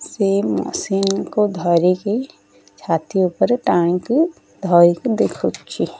ସେ ମୋ ସିମ୍ କୁ ଧରିକି ଛାତି ଉପରେ ଟାଣିକି ଧରିକି ଦେଖୁଛି।